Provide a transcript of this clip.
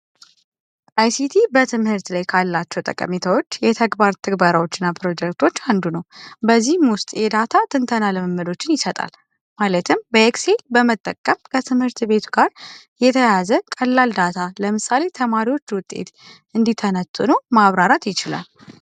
አይሲቲ በትምህርት ላይ ካላቸው ጠቀሜታዎች የተግባር ትግባሮች ፕሮጀክቶች አንዱ ነው በዚህ ውስጥ የዳታ ትንተና ልምምዶችን ይሰጣል ማለትም በኤክሲ በመጠቀም ከትምህርት ቤቱ ጋር የተያያዘ ቀላል ዳታ ለምሳሌ ተማሪዎች ውጤት ነው ማብራራት ይችላል